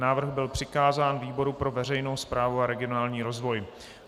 Návrh byl přikázán výboru pro veřejnou správu a regionální rozvoj.